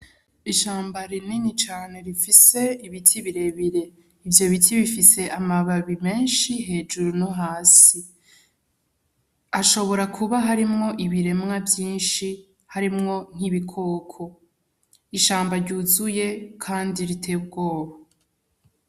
Ishamba rinini cane rifise ibiti birebire. Ivyo biti bifise amababi menshi hejuru no hasi. Hashobora kuba harimwo ibiremwa vyinshi, harimwo nk'ibikoko. Ishamba ryuzuye kandi riteye ubwoba.